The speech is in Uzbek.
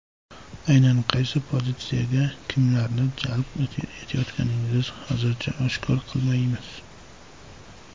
Aynan qaysi pozitsiyaga kimlarni jalb etayotganimizni hozircha oshkor qilmaymiz.